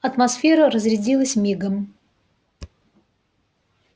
атмосфера разрядилась мигом